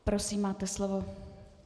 Prosím, máte slovo.